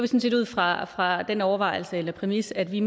set ud fra fra den overvejelse eller præmis at vi